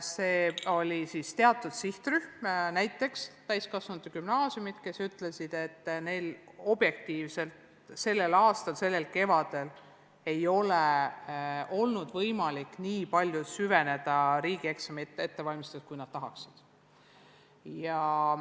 Oli veel teine sihtrühm, näiteks täiskasvanute gümnaasiumid, kes ütlesid, et neil objektiivselt pole selle aasta kevadel olnud võimalik süveneda riigieksamite ettevalmistamisse nii palju, kui nad tahaksid.